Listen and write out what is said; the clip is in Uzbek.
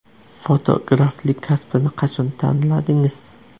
Fotograflik kasbini qachon tanladingiz?